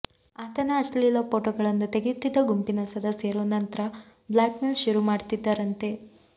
ಆತನ ಅಶ್ಲೀಲ ಫೋಟೋಗಳನ್ನು ತೆಗೆಯುತ್ತಿದ್ದ ಗುಂಪಿನ ಸದಸ್ಯರು ನಂತ್ರ ಬ್ಲಾಕ್ಮೇಲ್ ಶುರು ಮಾಡ್ತಿದ್ದರಂತೆ